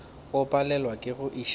o palelwa ke go iša